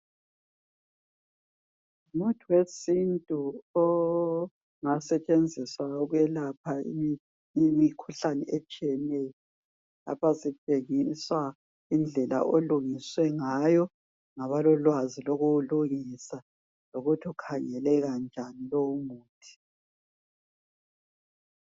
Ngumuthi wesintu ongasetshenziswa ukwelapha imikhuhlane itshiyeneyo lapha sitshengiswa indlela olungiswe ngayo ngabalolwazi lokuwulungisa lokuthi ukhangeleka njani lowumuthi